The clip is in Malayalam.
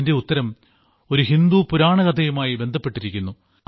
അതിന്റെ ഉത്തരം ഒരു ഹിന്ദു പുരാണകഥയുമായി ബന്ധപ്പെട്ടിരിക്കുന്നു